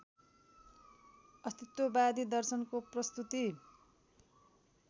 अस्तित्ववादी दर्शनको प्रस्तुति